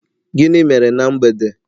Gịnị mere ná mgbede?